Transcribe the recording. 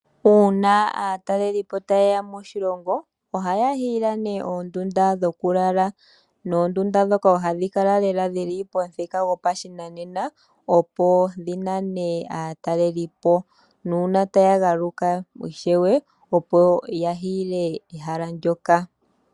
Uuna aatalelipo taye ya moshilongo ohaya hiile ne oondunda dhokulala noondunda ndhoka oha dhi kala lela mponkatu goshinanena opo dhi nane aatalelipo. Nuuna taya galuka ishewe opo ya hiile ehala ndjoka ishewe.